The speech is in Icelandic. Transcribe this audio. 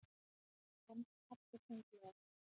sagði pabbi þunglega.